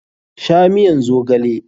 Sha miyan zogale!